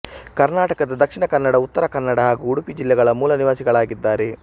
ಕರ್ನಾಟಕದ ದಕ್ಷಿಣ ಕನ್ನಡ ಉತ್ತರ ಕನ್ನಡ ಹಾಗೂ ಉಡುಪಿ ಜಿಲ್ಲೆಗಳ ಮೂಲ ನಿವಾಸಿಗಳಾಗಿದ್ದಾರೆ